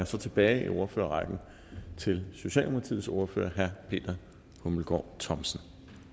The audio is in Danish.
så tilbage i ordførerrækken til socialdemokratiets ordfører herre peter hummelgaard thomsen